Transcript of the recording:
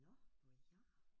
Nåh noget gær